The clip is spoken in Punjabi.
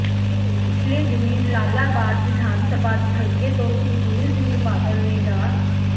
ਪਿਛਲੇ ਦਿਨੀ ਜਲਾਲਾਬਾਦ ਵਿਧਾਨ ਸਭਾ ਹਲਕੇ ਤੋਂ ਸੁਖਬੀਰ ਸਿੰਘ ਬਾਦਲ ਨੇ ਡਾ